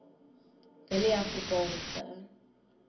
willieafrikaanse